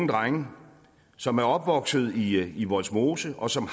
drenge som er opvokset i i vollsmose og som